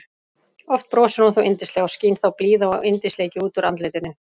Oft brosir hún þó yndislega og skín þá blíða og yndisleiki út úr andlitinu.